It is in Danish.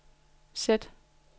sæt